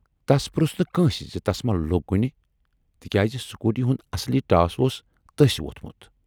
تَس پروژھ نہٕ کٲنسہِ زِ تس ما لوگ کُنہِ، تِکیازِ سکوٗٹی ہُند اصلی ٹاس اوس تٔسۍ وۅتھمُت۔